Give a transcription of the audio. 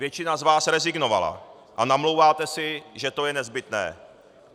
Většina z vás rezignovala a namlouváte si, že to je nezbytné.